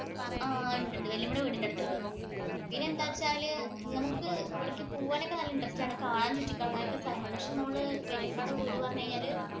ആ ഒണ്ട് ഒണ്ട്. വല്യമ്മയുടെ വീടിനടുത്തൊണ്ട്. പിന്നെ എന്താന്നു വച്ചാല്‍ നമുക്ക് ഇവിടെ പോകാനോക്കെ വല്യമ്മയുടെ വീട് എന്ന് പറഞ്ഞു കഴിഞ്ഞാല്‍